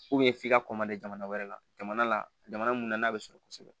f'i ka jamana wɛrɛ la jamana la jamana mun na n'a bɛ sɔrɔ kosɛbɛ